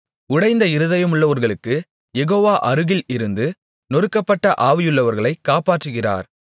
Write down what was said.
உடைந்த இருதயமுள்ளவர்களுக்குக் யெகோவா அருகில் இருந்து நொறுக்கப்பட்ட ஆவியுள்ளவர்களை காப்பாற்றுகிறார்